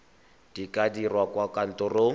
di ka dirwa kwa kantorong